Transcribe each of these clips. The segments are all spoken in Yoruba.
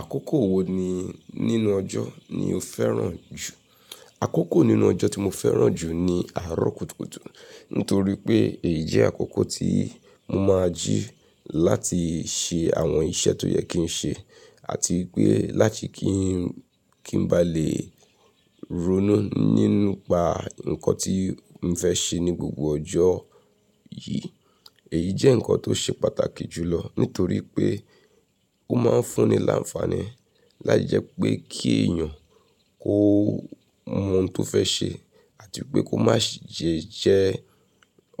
Àkókò wo ni nínú ọjọ́ ni o fẹ́ràn jù? Àkókò nínú ọjọ́ tí mo fẹ́ràn jù ni àárọ̀ kùtùkùtù. Nítorí pé èyí jẹ́ àkókò tí mo máa jí láti ṣe àwọn iṣẹ́ tó yẹ kí n ṣe àti pé láti kí n, kí n bá lè ronú nínúpa nǹkan tí ń fẹ́ ṣe ní gbogbo ọjọ́ yìí. Èyí jẹ́ ǹkan tó ṣe pàtàkì jùlọ nítorí pé ó máa ń fún ni làǹfààní láijẹ pé kí èèyàn kó mọ ohun tó fẹ́ ṣe àti pé kó má ṣe jẹ́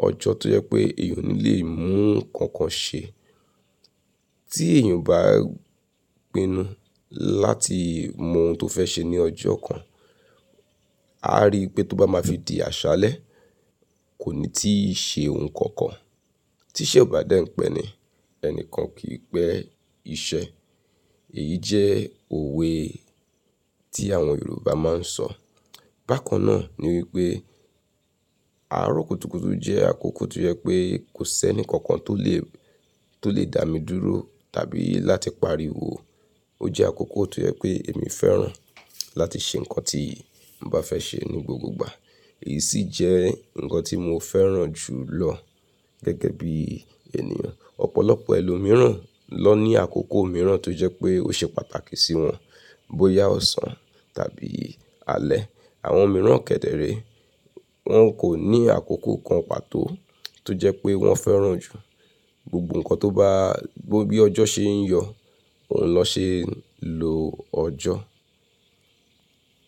ọjọ́ tó yẹ pé èèyàn ò ní lè mú nǹkan kan ṣe. Tí èèyàn bá pinu láti mọ ohun tó fẹ́ ṣe ní ọjọ́ kan, a ri pé tó bá máa fi di àṣálẹ́, kò ní tí ì ṣe ohun kankan. "Tí iṣẹ́ ò bá dẹ́ń pẹ́ ni, ẹni kan kì í pẹ́ iṣẹ́." Èyí jẹ́ òwe tí àwọn Yorùbá máa ń sọ. Bákan náà ni wípé àárọ̀ kùtùkùtù jẹ́ àkókò tó yẹ pé kò sẹ́ni kankan tó lè, tó lè dá mi dúró tàbí láti pariwo. Ó jẹ́ àkókò tó yẹ pé èmi fẹ́ràn láti ṣe ǹkan tí ń bá fẹ́ ṣe ní gbogbo ìgbà. Èyí sì jẹ́ ǹkan tí mo fẹ́ràn jùlọ gẹ́gẹ́ bí ènìyàn. Ọ̀pọ̀lọpọ̀ ẹlòmíràn ló ní àkókò mìíràn tó jẹ́ pé ó ṣe pàtàkì sí wọn. Bóyá ọ̀sán tàbí alẹ́. Àwọn mìíràn kẹ̀dẹ̀ẹ̀rẹ̀ wọ́n kò ní àkókò kan pàtó tó jẹ́ pé wọ́n fẹ́ràn jù. Gbogbo ǹkan tó bá, bó bí ọjọ́ ṣe ń yọ, òun ló ṣe ń lo ọjọ́.